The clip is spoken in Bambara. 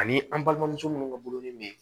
Ani an balimamuso minnu ka bolon ni be yen